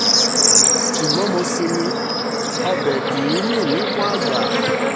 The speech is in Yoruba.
ṣùgbọ́n mo sinmi ọbẹ̀ kì í mì níkùn àgbà